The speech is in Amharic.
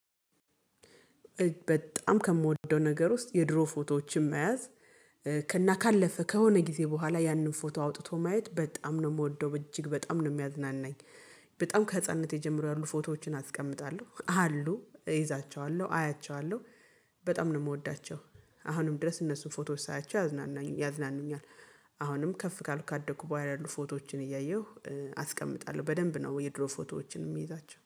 በጣም ከምወደው ነገር ውስጥ የድሮ ፎቶዎችን መያዝ ከ እና ካለፈ ከሆነ ጊዜ በኋላ ያንን ፎቶ አውጥቶ ማየት በጣም ነው የምወደው በእጅግ በጣም ነው የሚያዝናናኝ። በጣም ከህፃንነቴ ጀመሮ ያሉ ፎቶዎችን አስቀምጣለሁ አሉ እይዛቸዋለሁ አያቸዋለሁ። በጣም ነው የምወዳቸው አሁንም ድረስ እነሱን ፎቶዎች ሳያቸው ያዝናኑኛል። አሁንም ከፍ ካልኩ ካደኩ በኋላ ያሉ ፎቶዎችን እያየሁ አስቀምጣለሁ በደንብ ነው የድሮ ፎቶዎችን የምይዛቸው